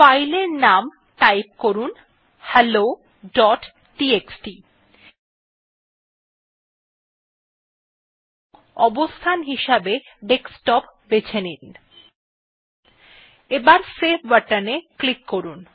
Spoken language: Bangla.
ফাইল এর নাম টাইপ করলাম helloটিএক্সটি এন্ড অবস্থান হিসাবে ডেস্কটপ বেছে নিলাম এবং সেভ বাটন এ ক্লিক করলাম